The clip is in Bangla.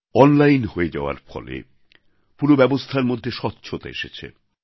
অনলাইন হয়ে যাওয়ার ফলে পুরো ব্যবস্থার মধ্যে স্বচ্ছতা এসেছে